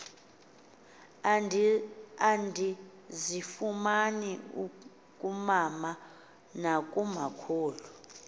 endizifumana kumama nakumakhulu